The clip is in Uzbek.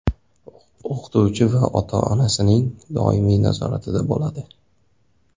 O‘qituvchi va ota-onasining doimiy nazoratida bo‘ladi.